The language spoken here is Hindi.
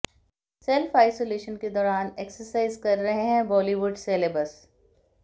सेल्फ आइसोलेशन के दौरान एक्सरसाइज कर रहे हैं बॉलीवुड सेलेब्स